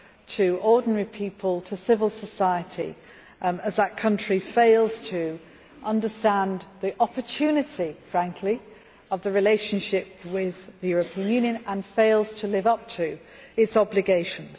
to ordinary people, to civil society, as that country frankly fails to understand the opportunity of the relationship with the European Union, and fails to live up to its obligations.